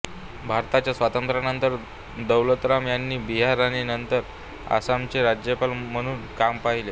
भारताच्या स्वातंत्र्यानंतर दौलतराम यांनी बिहार आणि नंतर आसामचे राज्यपाल म्हणून काम पाहिले